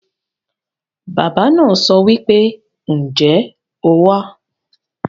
Baba naa sowipe, "Nje o wa?"